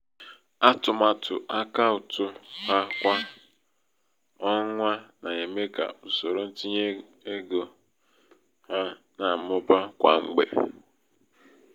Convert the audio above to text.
atụmatụ akautu ha kwa onwa na-eme.ka usoro ntinye nego ha na-amụba kwa mgbe.